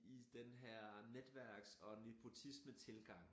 I den her netværks og nepotismetilgang